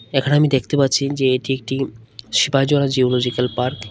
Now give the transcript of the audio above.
এখানে আমি দেখতে পাচ্ছি যে এটি একটি শিবাজল জুওলজিক্যাল পার্ক ।